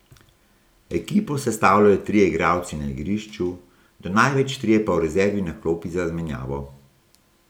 Ekipo sestavljajo trije igralci na igrišču, do največ trije pa v rezervi na klopi za menjavo.